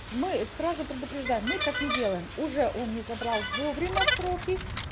мы сразу предупреждаем мы так не делаем уже он не забрал вовремя в сроки